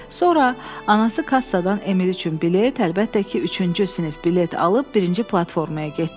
Sonra anası kassadan Emil üçün bilet, əlbəttə ki, üçüncü sinif bilet alıb birinci platformaya getdilər.